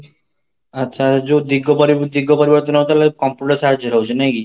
ଆଚ୍ଛା, ଯୋଉ ଦିଗ ଦିଗ ପରିବର୍ତନ ହଉଥିଲା computer ସାହାଯ୍ୟ ହଉଛି ନାଇକି?